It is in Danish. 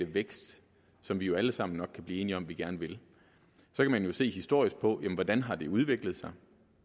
vækst som vi jo alle sammen nok kan blive enige om at vi gerne vil kan man se historisk på det hvordan har det udviklet sig